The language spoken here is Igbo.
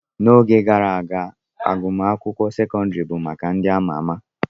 N'oge gara aga, agụmakwụkwọ sekọndrị bụ maka ndị ama ama.